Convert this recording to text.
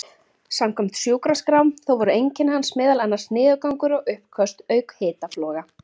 Samkvæmt sjúkraskrám þá voru einkenni hans meðal annars niðurgangur og uppköst auk hitafloga.